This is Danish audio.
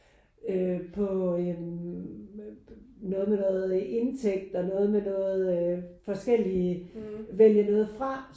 Øh på noget med noget indtægt og noget med noget forskellige vælge noget fra